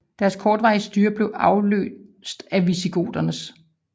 Deres kortvarige styre blev afløst af visigoternes